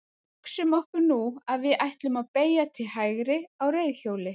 Hugsum okkur nú að við ætlum að beygja til hægri á reiðhjóli.